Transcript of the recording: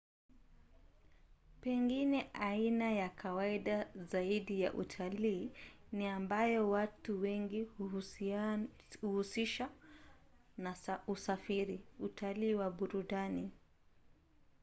pengine aina ya kawaida zaidi ya utalii ni ambayo watu wengi huhusisha na usafiri: utalii wa burudani